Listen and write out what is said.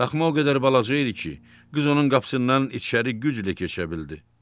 Daxma o qədər balaca idi ki, qız onun qapısından içəri güclə keçə bildi.